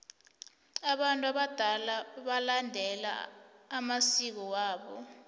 abantu abadala balandela amsiko wabo